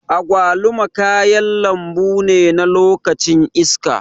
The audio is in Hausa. Agwaluma kayan lambune na lokacin iska.